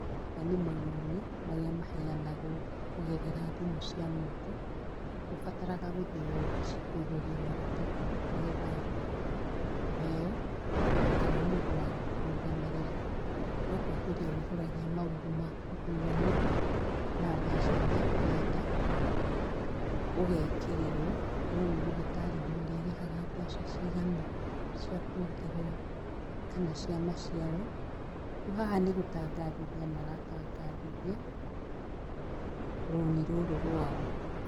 Maya nĩ marũni marĩa maheanagwo kũgerera thimũ cia moko, ndubataraga gũthĩi wabici kũihũria maratathi nĩgetha ũheo kana mũndũ wa gũkũrũgamĩrĩra no kũihũria wĩihũragia maũndũ maku thimũinĩ na mbeca iria ũrenda ũgekĩrĩrwo no nĩũgĩtarĩrio ũrirĩhaga mbeca cigana cia kuongerera kana cia maciaro, riũ haha nĩ gũtangathithia maratangathithia rũni rũrũ rwao.